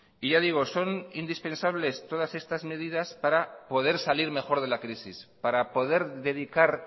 y ya digo son indispensables todas estas medidas para poder salir mejor de la crisis para poder dedicar